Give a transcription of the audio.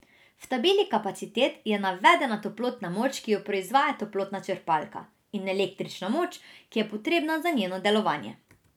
V tabeli kapacitet je navedena toplotna moč, ki jo proizvaja toplotna črpalka, in električna moč, ki je potrebna za njeno delovanje.